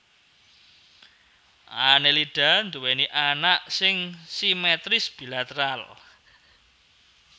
Annelida nduwèni awak sing simetris bilateral